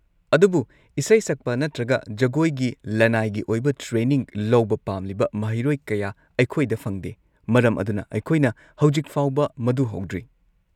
ꯑꯗꯨꯕꯨ ꯏꯁꯩ ꯁꯛꯄ ꯅꯠꯇ꯭ꯔꯒ ꯖꯒꯣꯏꯒꯤ ꯂꯅꯥꯏꯒꯤ ꯑꯣꯏꯕ ꯇ꯭ꯔꯦꯅꯤꯡ ꯂꯧꯕ ꯄꯥꯝꯂꯤꯕ ꯃꯍꯩꯔꯣꯏ ꯀꯌꯥ ꯑꯩꯈꯣꯏꯗ ꯐꯪꯗꯦ, ꯃꯔꯝ ꯑꯗꯨꯅ ꯑꯩꯈꯣꯏꯅ ꯍꯧꯖꯤꯛ ꯐꯥꯎꯕ ꯃꯗꯨ ꯍꯧꯗ꯭ꯔꯤ꯫